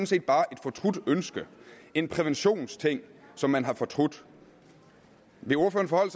set bare et fortrudt ønske en præventionsting som man har fortrudt vil ordføreren